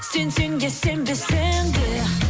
сенсең де сенбесең де